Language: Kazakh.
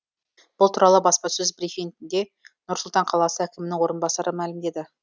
бұл туралы баспасөз брифингінде нұр сұлтан қаласы әкімінің орынбасары мәлімдеді